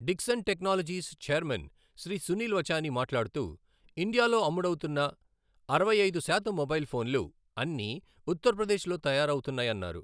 Dixon technologies chairman Shri Sunil Vachani మాట్లాడుతూ, ఇండియాలో అమ్ముడవుతున్న అరవై ఐదు శాతం మొబైల్ ఫోన్లు అన్నీ ఉత్తరప్రదేశ్లో తయారవుతున్నాయన్నారు.